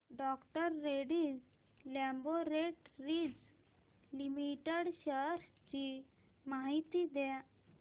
डॉ Reddy's laboratories limited shares ची माहिती द्या